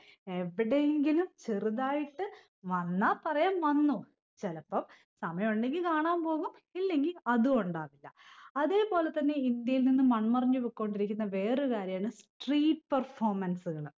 എവിടെയെങ്കിലും ചെറുതായിട്ട് വന്നാ പറയാം വന്നു ചിലപ്പം സമയുണ്ടെങ്കിൽ കാണാൻ പോകു ഇല്ലെങ്കിൽ അതു ഉണ്ടാവില്ല അതെ പോലെ തന്നെ ഇന്ത്യയിൽ നിന്ന് മണ്മറഞ്ഞു പൊക്കൊണ്ടിരിക്കുന്ന വേറൊരു കാര്യാണ് street performance കൾ